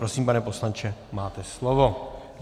Prosím, pane poslanče, máte slovo.